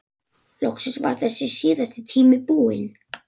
Loksins var þessi síðasti tími búinn.